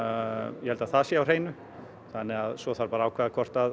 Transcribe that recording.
ég held að það sé á hreinu svo þarf að ákveða hvort